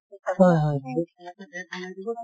হয় হয়